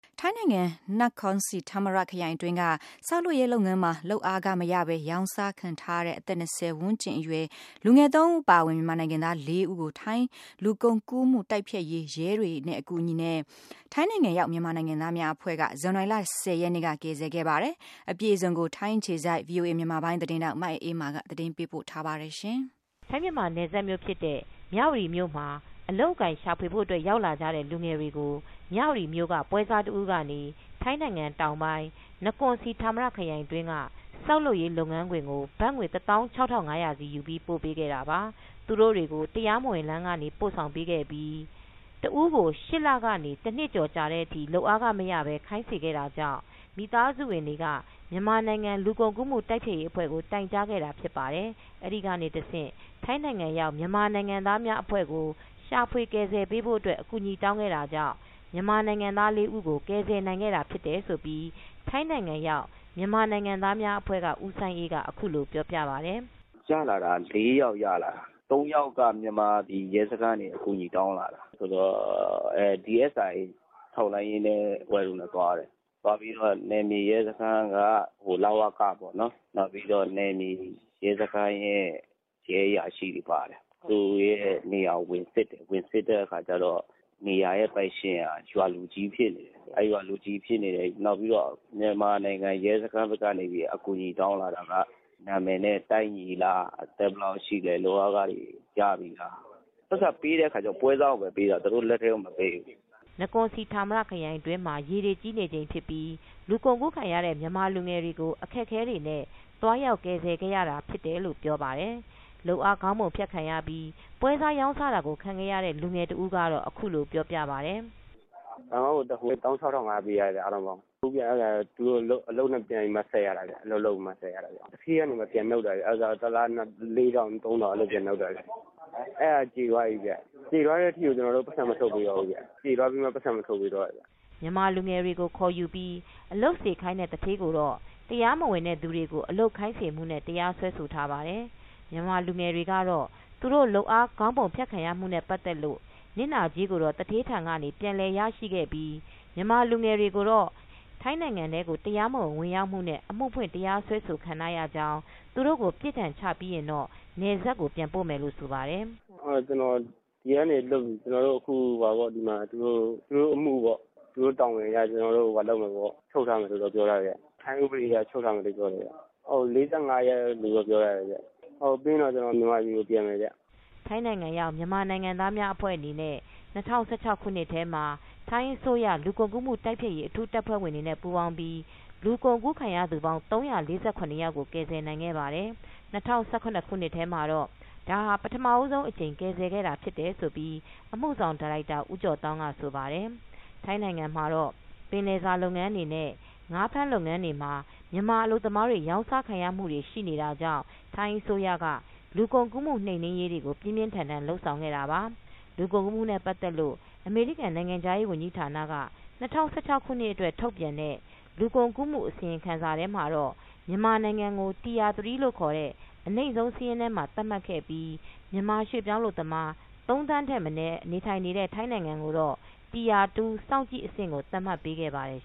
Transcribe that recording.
ထိုင်းနိုင်ငံ နကွန်စီဌာမရခရိုင်တွင်းက ဆောက်လုပ်ရေးလုပ်ငန်းမှာ လုပ်အားခမရဘဲ ရောင်းစားခံထားရတဲ့ အသက် ၂၀ ဝန်းကျင်အရွယ် လူငယ် ၃ ဦး အပါအဝင် မြန်မာနိုင်ငံသား ၄ ဦးကို ထိုင်းလူကုန်ကူးမှု တိုက်ဖျက်ရေး ရဲတွေရဲ့ အကူညီနဲ့ ထိုင်းနိုင်ငံရောက် မြန်မာနိုင်ငံသားများအဖွဲ့က ဇန်နဝါရီလ ၁၀ ရက်နေ့က ကယ်ဆယ်ခဲ့ပါတယ်။ အပြည့်အစုံကို ထိုင်းအခြေစိုက် ဗွီအိုအေသတင်းထောက် မအေးအေးမာ က သတင်းပေးပို့ထားပါတယ်။ ထိုင်း-မြန်မာနယ်စပ်မြို့ဖြစ်တဲ့ မြဝတီမြို့မှာ အလုပ်အကိုင်ရှာဖွေဖို့ ရောက်လာကြတဲ့ လူငယ်တွေကို မြဝတီမြို့က ပွဲစားတဦးကနေ ထိုင်းနိုင်ငံတောင်ပိုင်း နကွန်စီဌာမရခရိုင်အတွင်းက ဆောက်လုပ်ရေးလုပ်ငန်းခွင်ကို ဘတ်ငွေ ၁ သောင်း ၆ ထောင် ၅၀၀ စီယူပြီး ပို့ပေးခဲ့တာပါ။ သူတို့တွေကို တရားမဝင် လမ်းကနေ ပို့ဆောင်ပေးခဲ့ပြီး ၈ လကနေ ၁ နှစ်ကျော်ကြာတဲ့အထိ လုပ်အားခမရဘဲ ခိုင်းစေခဲ့တာကြောင့် မိသားစုဝင်တွေက မြန်မာနိုင်ငံ လူကုန်ကူးမှု တိုက်ဖျက်ရေးအဖွဲ့ကို တိုင်ကြားခဲ့တာ ဖြစ်ပါတယ်။ အဲဒီကနေတဆင့် ထိုင်းနိုင်ငံရောက် မြန်မာနိုင်ငံသားများအဖဲ့ွကို ရှာဖွေကယ်ဆယ်ပေးဖို့ အကူညီတောင်းခဲ့တာကြောင့် မြန်မာနိုင်ငံသား ၄ ဦးကို ကယ်ဆယ်နိုင်ခဲ့တာ ဖြစ်တယ်ဆိုပြီး ထိုင်းနိုင်ငံရောက် မြန်မာနိုင်ငံသားအဖွဲ့က ဦးစိုင်းအေး က အခုလို ပြောပြပါတယ်။ “ရလာတာ ၄ ယောက် ရလာတာ။ ၃ ယောက်က မြန်မာပြည်ရဲစခန်းကနေ အကူအညီတောင်းလာတာ။ DSI ထောက်လှမ်းရေးအဖွဲ့တို့နဲ့ သွားတယ်။ သွားပြီးတော့ နယ်မြေရဲစခန်းက လ.ဝ.က ပေါ့နော် နောက်ပြီးတော့ နယ်မြေရဲစခန်းရဲ့ ရဲအရာရှိတွေပါတယ်။ သူတို့ရဲ့နေရာကို ဝင်စစ်တယ်။ ဝင်စစ်တဲ့အခါကျတော့ နေရာရဲ့ပိုင်ရှင်ဟာ ရွာလူကြီးဖြစ်နေတယ်။ အဲ့ရွာလူကြီးဖြစ်နေတယ်။ နောက်ပြီးတော့ မြန်မာနိုင်ငံ ရဲစခန်းဘက်ကနေပြီး အကူအညီ တောင်းလာတာက နာမည်နဲ့ ကိုက်ညီလား။ အသက်ဘယ်လောက်ရှိသလဲ။ လုပ်အားခတွေရပြီလားပေါ့။ ပိုက်ဆံပေးတဲ့အခါကျတော့ ပွဲစားကိုပဲပေးတာ။ သူတို့လက်ထဲကို မပေးဘူး။” နကွန်စီဌာမရခရိုင်အတွင်းမှာ ရေတွေကြီးနေချိန်ဖြစ်ပြီး လူကုန်ကူးခံရတဲ့ မြန်မာလူငယ်တွေကို အခက်အခဲတွေနဲ့ သွားရောက် ကယ်ဆယ်ခဲ့ရတ ဖြစ်တယ်လို့ ဆိုပါတယ်။ လုပ်အားခခေါင်းပုံဖြတ်ခံရပြီး ပွဲစားရောင်းစားတာကို ခံရတဲ့ လူငယ်တဦးကတော့ အခုလို ပြောပြပါတယ်။ “ဘန်ကောက်ကိုတက်ဖို့ ၁ သောင်း ၆,၅၀၀ ပေးရတယ်ဗျ အားလုံးပေါင်း။ အလုပ်နဲ့ ပြန်ပြီးမှ ဆပ်ရတာဗျ။ အလုပ်လုပ်ပြီးမှ ဆပ်ရတာ။ သူဌေးကနေမှ ပြန်နှုတ်တာ။ တလကို ၄ ထောင်၊ ၃ ထောင် အဲ့လို ပြန်နှုတ်တာဗျ။ အဲဒါက ကျေသွားပြီဗျ။ ကျေသွားတဲ့အထိကို ကျနော်တို့ကို ပိုက်ဆံ မထုတ်ပေးတော့ဘူးဗျ။ ကျေသွားပြီးမှ ပိုက်ဆံ မထုတ်ပေးတော့တာ။” မြန်မာလူငယ်တွေကို ခေါ်ယူပြီး အလုပ်ခိုင်းစေတဲ့ သူဌေးကိုတော့ တရားမဝင်တဲ့သူတွေကို အလုပ်ခိုင်းစေမှုတွေနဲ့ တရားစွဲဆိုထားပါတယ်။ မြန်မာလူငယ်တွေကတော့ သူတို့လုပ်အား ခေါင်းပုံဖြတ်ခံရမှုတွေနဲ့ ပတ်သက်လို့ နစ်နာကြေးတွေကိုတော့ သူဌေးထံကနေ ပြန်လည်ရရှိခဲ့ပြီး မြန်မာလူငယ်တွေကိုတော့ ထိုင်းနိုင်ငံထဲကို တရားမဝင် ဝင်ရောက်မှုနဲ့ အမှုဖွင့် တရားစွဲဆိုခံထားရပြီး သူတို့ကို ပြစ်ဒဏ်ချပြီးရင်တော့ နယ်စပ်ကို ပြန်ပို့မယ်လို့ ဆိုပါတယ်။ “ဒီကနေလွတ်ရင် ကျနော်တို့ကို သူတို့တာဝန်အရ ချုပ်ထားမယ်လို့တော့ ပြောတယ်ခင်ဗျ။ ထိုင်းဥပဒေအရ ချုပ်ထားမယ်လို့ ပြောတယ်ခင်ဗျ။ ၄၅ ရက်လို့တော့ ပြောတယ်ခင်ဗျ။ ပြီးရင်တော့ ကျနော်တို့ မြန်မာပြည်ကို ပြန်မယ်ခင်ဗျ။” ထိုင်းနိုင်ငံရောက် မြန်မာနိုင်ငံသားများအဖွဲ့အနေနဲ့ ၂၀၁၆ ခုနှစ်ထဲမှာ ထိုင်းအစိုးရလူကုန်ကူးမှု တိုက်ဖျက်ရေး အထူးတပ်ဖွဲ့ဝင်တွေနဲ့ ပူးပေါင်းပြီး လူကုန်ကူးခံရသူပေါင်း ၃၄၇ ယောက်ကို ကယ်ဆယ်နိုင်ခဲ့ပါတယ်။ ၂၀၁၇ ခုနှစ်ထဲမှာတော့ ဒါဟာ ပထမဦးဆုံးအကြိမ် ကယ်ဆယ်ခဲ့တာ ဖြစ်တယ်ဆိုပြီး အမှုဆောင်ဒါရိုက်တာ ဦးကျော်သောင်း က ဆိုပါတယ်။ ထိုင်းနိုင်ငံမှာတော့ ပင်လယ်စာလုပ်ငန်းတွေနဲ့ ငါးဖမ်းလုပ်ငန်းတွေမှာ မြန်မာအလုပ်သမားတွေ ရောင်စားခံရမှုတွေ ရှိနေတာကြာင့် ထိုင်းအစိုးရက လူကုန်ကူးမှု နှိမ်နင်းရေးတွေကို ပြင်းပြင်းထန်ထန် လုပ်ဆောင်ခဲ့တာပါ။ လူကုန်ကူးမှုတွေနဲ့ ပတ်သက်လို့ အမေရိကန်နိုင်ငံခြားရေးဝန်ကြီးဌာနက ၂၀၁၆ ခုနှစ်အတွက် ထုတ်ပြန်တဲ့ လူကုန်ကူးမှု အစီရင်ခံစာထဲမှာ မြန်မာနိုင်ငံကို Tier-3 အနိမ့်ဆုံး စာရင်းထဲ သတ်မှတ်ခဲ့ပြီး၊ မြန်မာရွှေ့ပြောင်းအလုပ်သမား ၃ သန်းထက်မနည်း နေထိုင်နေတဲ့ ထိုင်းနိုင်ငံကိုတော့ Tier-2 စောင့်ကြည့်အဆင့်ကို သတ်မှတ်ပေးခဲ့ပါတယ်